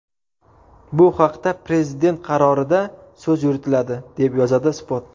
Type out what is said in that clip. Bu haqda prezident qarorida so‘z yuritiladi, deb yozadi Spot.